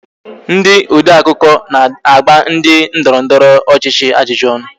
Ndị odeakụkọ na-agba ndị ndọrọndọrọ ọchịchị ajụjụ ọnụ